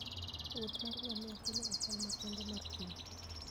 wuoth mar ngamia konyo e chal makende mar thim